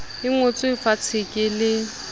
e ngotswe fatshe ke le